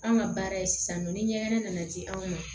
An ka baara ye sisan nɔ ni ɲɛgɛn nana ci anw ma